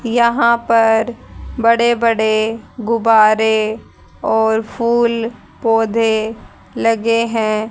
यहां पर बड़े बड़े गुब्बारे और फूल पौधे लगे हैं।